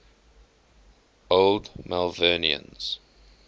old malvernians